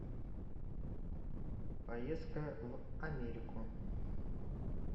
поездка в америку